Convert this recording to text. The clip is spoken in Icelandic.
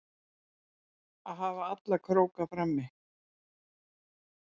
Að hafa alla króka frammi